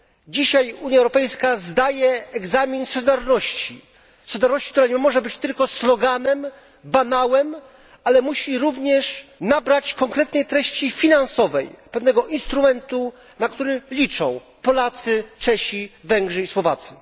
Dzisiaj Unia Europejska zdaje egzamin z solidarności, solidarności, która nie może być tylko sloganem, banałem, ale musi również nabrać konkretnej treści finansowej, pewnego instrumentu, na który liczą Polacy, Czesi, Węgrzy i Słowacy.